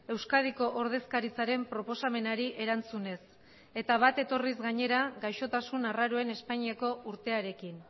euskadiko ordezkaritzaren proposamenari erantzunez eta bat etorriz gainera gaixotasun arraroen espainiako urtearekin